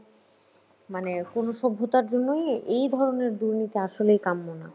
মানে কোনো সভ্যতার জন্যই এই ধরণের দুর্নীতি আসলে কাম্য না